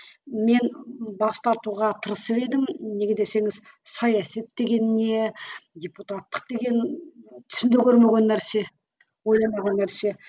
мен бас тартуға тырысып едім неге десеңіз саясат деген не депутаттық деген түсімде көрмеген нәрсе ойламаған нәрсе